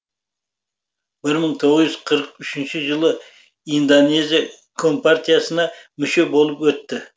бір мың тоғыз жүз қырық үшінші жылы индоезия компартиясына мүше болып өтті